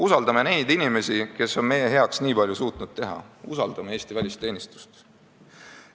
Usaldame neid inimesi, kes on suutnud meie heaks nii palju teha, usaldame Eesti välisteenistust!